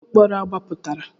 Kedụ onye mkpọrọ agbapụtara.